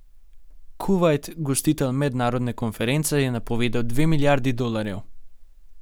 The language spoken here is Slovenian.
Kuvajt, gostitelj mednarodne konference, je napovedal dve milijardi dolarjev.